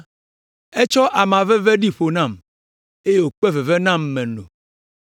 Etsɔ ama veve ɖi ƒo nam eye wòkpe veve nam meno.